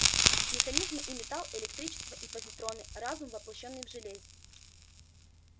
механизмы и металл электричество и позитроны разум воплощённый в железе